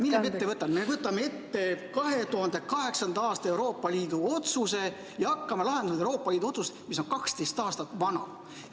Aga nüüd me võtame ette Euroopa Liidu 2008. aasta otsuse ja hakkame tegelema selle Euroopa Liidu otsusega, mis on 12 aastat vana.